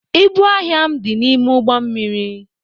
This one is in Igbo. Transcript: Ịbụ ahịa m dị n'ime ụgbọ mmiri.